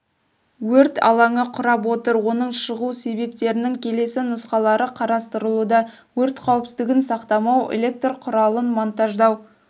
өрт алаңы құрап отыр оның шығу себептерінің келесі нұсқалары қарастырылуда өрт қауіпсіздігін сақтамау электр құралын монтаждау